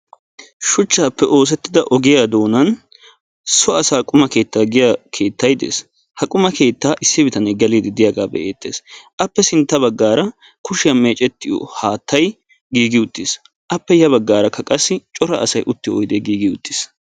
Shuchchappe oosetida ogiya doonan so asaa giya quma keettay beettees. Issi bitanee geliidi de'ees. Appe sintta bagaara kushiya meecettiyo haattay giigi uttiis. Appe ya baggaara qassi cora asay uttiyo oydee giigi utiis.